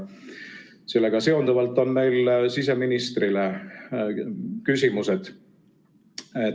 Sellega seonduvalt on meil siseministrile küsimused.